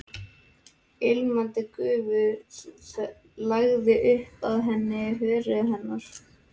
Ilmandi gufu lagði upp af heitu hörundi hennar.